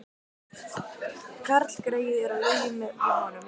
Karlgreyið er á lyfjum við honum